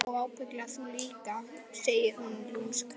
Já og ábyggilega þú líka, segir hún lúmsk.